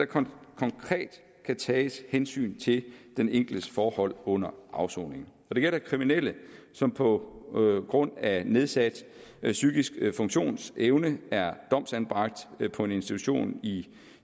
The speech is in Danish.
konkret kan tages hensyn til den enkeltes forhold under afsoningen når det gælder kriminelle som på grund af nedsat psykisk funktionsevne er domsanbragt på en institution i